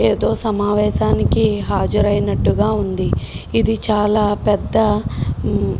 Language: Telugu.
ఎదో సమావేశానికి హాజరు ఐన్తు గ ఉంది ఎదో ఎదో పెద్ద